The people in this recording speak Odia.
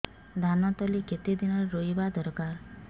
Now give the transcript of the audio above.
ଧାନ ତଳି କେତେ ଦିନରେ ରୋଈବା ଦରକାର